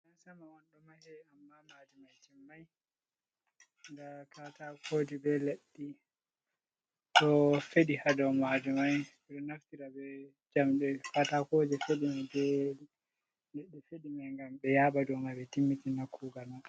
Gidan sama on, ɗo mahe ammaa maadi may timmay ndaa katakooji be leɗɗe ɗo feɗi haa dow maadi maajum may. Ɓe ɗo naftira be njamɗe ,katakooje feɗi may be leɗɗe feɗi may. Ngam ɓe yaaɓa dow may ɓe timmitina kuugal may.